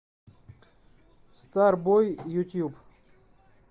старбой ютуб